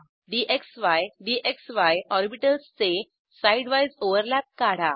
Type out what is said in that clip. dxy DXY ऑरबिटल्सचे side wise overlap काढा